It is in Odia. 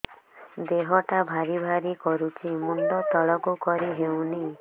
ଦେହଟା ଭାରି ଭାରି କରୁଛି ମୁଣ୍ଡ ତଳକୁ କରି ହେଉନି